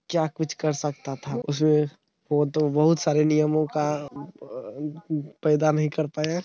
क्या कुछ कर सकता था । वो तो बहुत सारा नियमों का पैदा नही कर पाया।